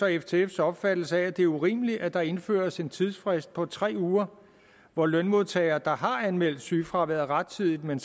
og ftfs opfattelse af at det er urimeligt at der indføres en tidsfrist på tre uger hvor lønmodtagere der har anmeldt sygefraværet rettidigt men